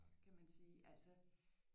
Kan man sige altså